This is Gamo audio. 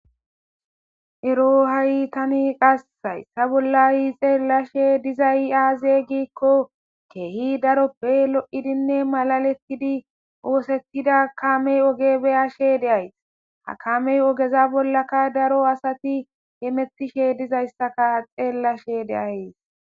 Ero hay tan haysa bolla xelashshe dizay aze gikko kehi daroppe lo'idinne malaletid othetida kamey beyashshe dayiss ha kamey ogeza bollakka daro asat hemetishshe dizayissakka xelashshe deyayiss